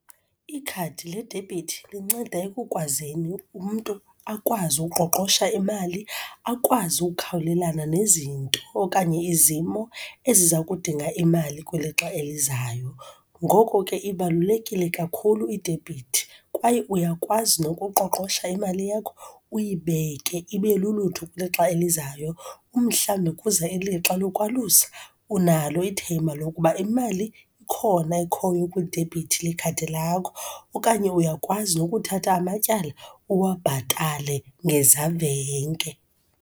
Ikhadi ledebhithi linceda ekukwazini umntu akwazi uqoqosho imali, akwazi ukukhawulelana nezinto okanye izimo eziza kudinga imali kwilixa elizayo. Ngoko ke, ibalulekile kakhulu idebhithi, kwaye uyakwazi nokuqoqosha imali yakho, uyibeke ibe lulutho kwilixa elizayo. Umhlawumbi kuza ilixa lokwalusa, unalo ithemba lokuba imali ikhona ekhoyo kwidebhithi lekhadi lakho, okanye uyakwazi nokuthatha amatyala uwabhatale ngezavenge.